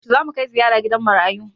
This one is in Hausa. Yaushe zamu kai ziyara gidan marayu?